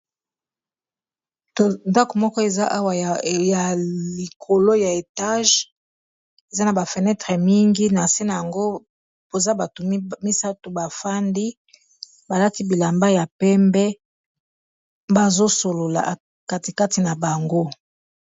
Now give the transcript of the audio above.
Ndako moko eza awa yalikolo ya mulai, eza na ba fenetree ebele, na se na yango koza bato misato bafandi balati bilamba ya pembe, bazosolola katikati na bango.